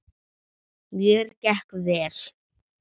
Mér gekk vel.